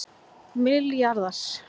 milljarðar